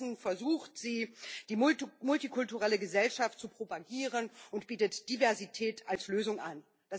Stattdessen versucht sie, die multikulturelle Gesellschaft zu propagieren, und bietet Diversität als Lösung an.